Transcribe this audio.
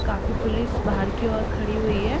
काफी पुलिस बाहर की ओर खड़ी है।